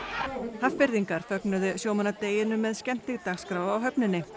Hafnfirðingar fögnuðu sjómannadeginum með skemmtidagskrá á höfninni